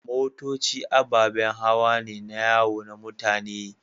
Motoci ababen hawa ne na yawo na mutane.